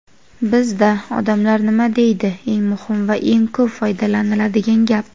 Bizda "odamlar nima deydi" eng muhim va eng ko‘p foydalaniladigan gap.